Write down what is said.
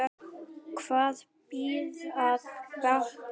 Hvað býr að baki?